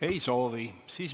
Ei soovi.